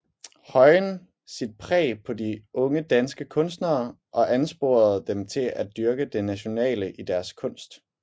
Høyen sit præg på de unge danske kunstnere og ansporede dem til at dyrke det nationale i deres kunst